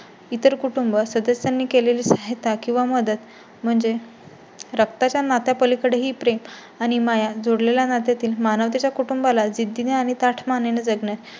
इतर कुटुंब सदस्यांनी केलेली सहायता किंवा मदत म्हणजे रक्ताच्या नात्या पलीकडेही ही प्रेम आणि माया जोडलेले नात्यातील मानवतेच्या कुटुंबाला जिद्दी ने आणि ताठ माने ने जगणे